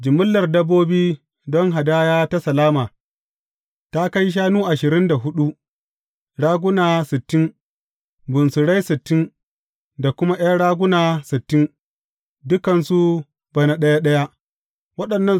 Jimillar dabbobi don hadaya ta salama, ta kai shanu ashirin huɗu, raguna sittin, bunsurai sittin da kuma ’yan raguna sittin, dukansu bana ɗaya ɗaya.